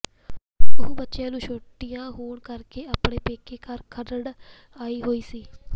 ਉਹ ਬੱਚਿਆਂ ਨੂੰ ਛੁਟੀਆਂ ਹੋਣ ਕਰਕੇ ਆਪਣੇ ਪੇਕੇ ਘਰ ਖਰੜ ਆਈ ਹੋਈ ਸੀ